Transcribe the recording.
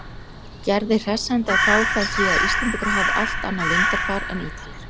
Gerði hressandi að fá þá því að Íslendingar hafi allt annað lundarfar en Ítalir.